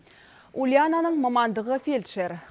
ульянаның мамандығы фельдшер